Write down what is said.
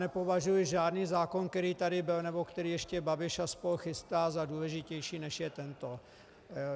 Nepovažuji žádný zákon, který tady byl nebo který ještě Babiš a spol. chystá, za důležitější, než je tento.